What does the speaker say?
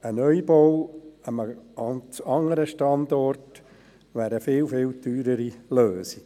Ein Neubau an einem ganz anderen Standort wäre eine viel, viel teurere Lösung.